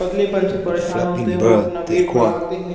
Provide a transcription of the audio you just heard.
पतलेपन से परेशान होते हैं वो अपना वेट बढ़ाते हैं।